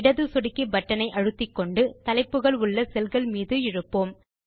இடது சொடுக்கி பட்டன் ஐ அழுத்திக்கொண்டு தலைப்புகள் உள்ள செல்கள் மீது இழுப்போம்